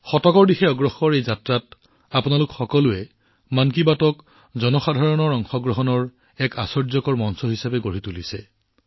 এক শতিকাৰ দিশে এই যাত্ৰাত আপোনালোক সকলোৱে জনসাধাৰণৰ অংশগ্ৰহণৰ অভিব্যক্তি হিচাপে মন কী বাতক এক আশ্চৰ্যকৰ মঞ্চ হিচাপে গঢ়ি তুলিছে